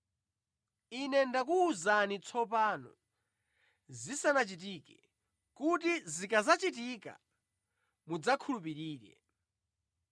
Ine ndakuwuzani tsopano zisanachitike, kuti zikadzachitika mudzakhulupirire.